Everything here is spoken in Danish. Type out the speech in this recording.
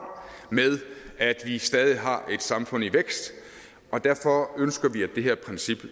med at vi stadig har et samfund i vækst og derfor ønsker vi at det her princip